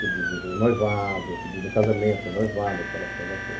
Pedido noivado, pedido em casamento, noivado, aquela coisa toda.